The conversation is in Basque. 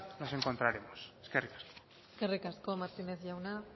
nos encontraremos eskerrik asko eskerrik asko martínez jauna